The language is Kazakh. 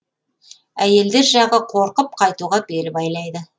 әйелдер жағы қорқып қайтуға бел байлайды